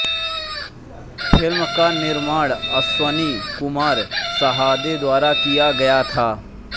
film का निर्माण अश्वनी कुमार साहदे द्वारा किया गया था